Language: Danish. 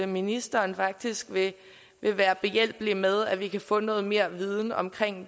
ministeren faktisk vil være behjælpelig med at vi kan få noget mere viden om